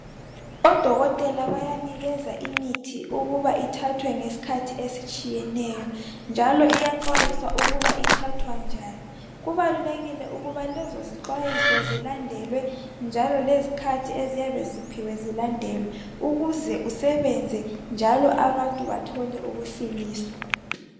odokotela bayanikeza imithi ukuba ithathwe ngesikhathi esihlukeneyo njalo iyaxwayiswa ukuba ithathwa njani kubalulekile ukuba lezo zixwayiso zilandelwe njalolezikhathi eziyabe ziphiwe zilandelwe ukuze usebenze njalo abantu bathole ukusindiswa.